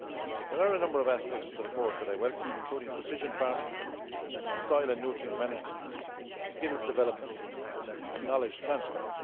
There are a number of aspects of the report that I welcome, including precision farming, soil and nutrient management, skills development and knowledge transfer.